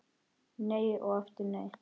Nei og aftur nei.